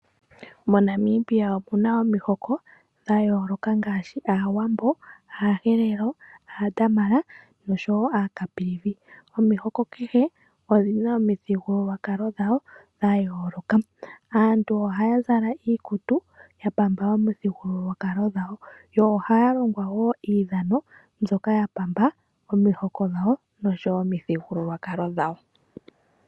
Mo Namibia omuna omihoko dhayooloka ngaashi Aawambo , Aaherero, Aadamara noshowoo Aacaprivi. Omihoko kehe odhina omithigululwakalo dhawo dhayooloka Aantu ohaa zala iikutu yapamba omithigululwakalo dhawo yo ohaa longwa woo iidhana ndyoka yapamba omihoko dhawo noshowoo omithigululwakalo dhawo.